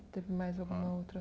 Teve mais alguma outra?